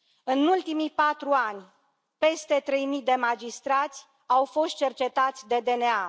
În ultimii patru ani, peste trei mii de magistrați au fost cercetați de DNA.